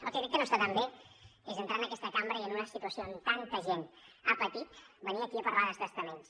el que crec que no està tan bé és entrar en aquesta cambra i en una situació on tanta gent ha patit venir aquí a parlar dels testaments